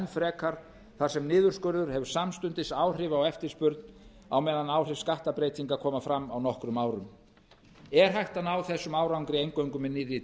frekar þar sem niðurskurður hefur samstundis áhrif á eftirspurn á meðan áhrif skatt breytinga koma fram á nokkrum árum er hægt að ná þessum árangri eingöngu með nýrri